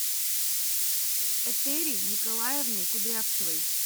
этери николаевной кудрявцевой